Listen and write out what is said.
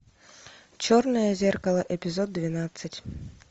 черное зеркало эпизод двенадцать